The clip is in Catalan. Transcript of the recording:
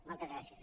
moltes gràcies